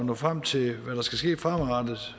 når frem til hvad der skal ske fremadrettet